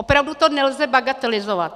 Opravdu to nelze bagatelizovat.